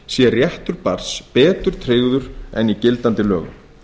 sé réttur barns betur tryggður en í gildandi lögum